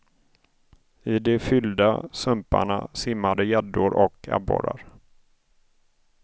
I de fyllda sumparna simmade gäddor och abborrar.